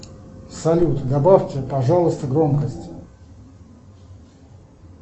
салют добавьте пожалуйста громкость